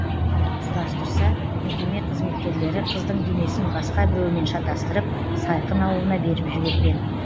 сұрастырса мекеме қызметкерлері қыздың денесін басқа біреумен шатастырып сайқын ауылына беріп жіберген